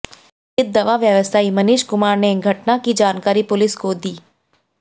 पीड़ित दवा व्यवसायी मनीष कुमार ने घटना की जानकारी पुलिस को दी